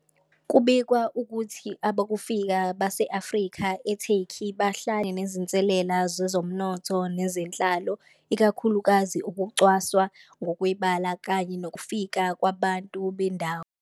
Kubikwa ukuthi abokufika base-Afrika eTurkey bahlale nezinselele zezomnotho nezenhlalo, ikakhulukazi ukucwasa ngokwebala kanye nokufika kwabantu bendawo.